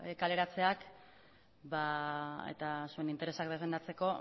kaleratzeak eta zuen interesak defendatzeko